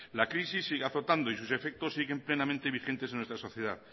la crisis sigue azotando y sus efectos siguen plenamente vigentes en nuestra sociedad